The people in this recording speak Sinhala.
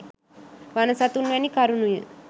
වන සතුන් වැනි කරුණුය